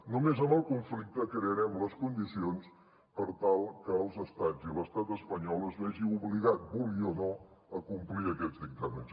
només en el conflicte crearem les condicions per tal que els estats i l’estat espanyol es vegin obligats vulguin o no a complir aquests dictàmens